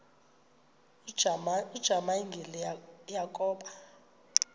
ujamangi le yakoba